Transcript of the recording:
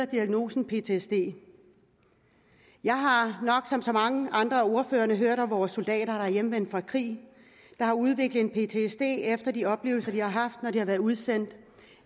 diagnosen ptsd jeg har nok som så mange andre af ordførerne hørt om vores soldater der hjemvendt fra krig har udviklet ptsd efter de oplevelser de har haft når de har været udsendt